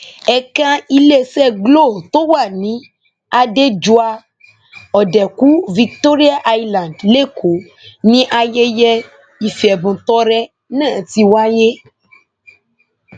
ẹka iléeṣẹ glo tó wà ní adéjọa òdekù victoria island lẹkọọ ni ayẹyẹ ìfẹbùntọrẹ náà ti wáyé